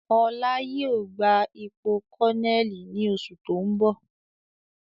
Ọlá yìí ó gbà ipò kọnẹ́ẹ́lì ni oṣù tóun bọ̀